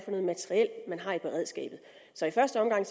noget materiel man har i beredskabet i første omgang